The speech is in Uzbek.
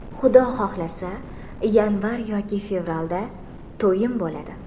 Xudo xohlasa, yanvar yoki fevralda to‘yim bo‘ladi.